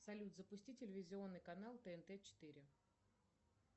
салют запусти телевизионный канал тнт четыре